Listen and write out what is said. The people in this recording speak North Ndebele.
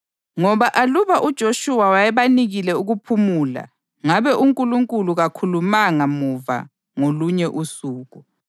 Ngoba aluba uJoshuwa wayebanikile ukuphumula, ngabe uNkulunkulu kakhulumanga muva ngolunye usuku.